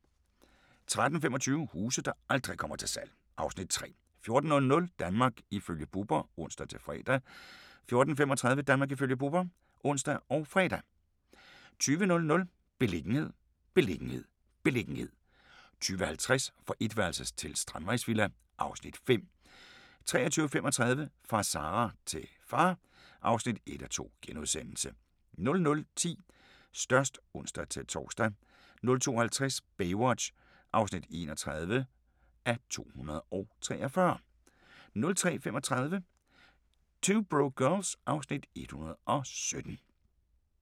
13:25: Huse der aldrig kommer til salg (Afs. 3) 14:00: Danmark ifølge Bubber (ons-fre) 14:35: Danmark ifølge Bubber (ons og fre) 20:00: Beliggenhed, beliggenhed, beliggenhed 20:50: Fra etværelses til strandvejsvilla (Afs. 5) 23:35: Fra Sarah til far (1:2)* 00:10: Størst (ons-tor) 02:50: Baywatch (31:243) 03:35: 2 Broke Girls (Afs. 117)